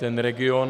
Ten region...